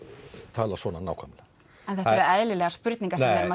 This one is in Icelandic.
tala svona nákvæmlega en þetta eru eðlilegar spurningar